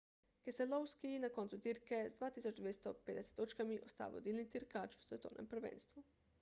keselowski na koncu dirke z 2250 točkami ostaja vodilni dirkač v svetovnem prvenstvu